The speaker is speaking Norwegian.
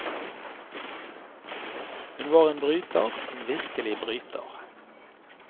Hun var en bryter, en virkelig bryter.